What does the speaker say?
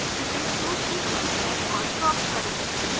इसे flowsheet पर drag और drop करें